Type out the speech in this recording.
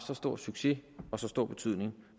så stor succes og så stor betydning